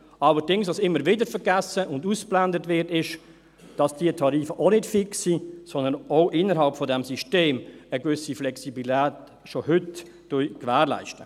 Was allerdings immer wieder vergessen und ausgeblendet wird, ist, dass diese Tarife auch nicht fix sind, sondern auch innerhalb dieses Systems schon heute eine gewisse Flexibilität gewährleisten.